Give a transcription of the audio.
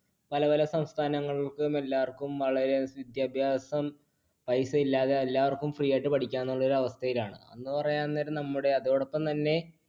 പല പല സംസ്ഥാനങ്ങൾക്കും എല്ലാവർക്കും വളരെ വിദ്യാഭ്യാസം paisa ഇല്ലാതെ എല്ലാവർക്കും free ആയിട്ട് പഠിക്കാം എന്നുള്ള അവസ്ഥയിലാണ്.